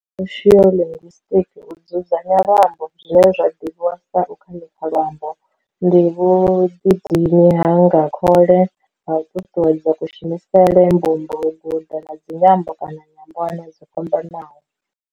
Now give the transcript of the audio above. Kha soshiolinguisitiki, U dzudzanya luambo, zwine zwa ḓivhiwa sa u khanikha luambo, ndi vhuḓidini ha nga khole ha u ṱuṱuwedza kushumisele, mbumbo, u guda ha dzinyambo kana nyambwana dzo fhambanaho.